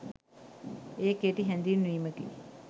ඒ කෙටි හැඳින්වීමකි.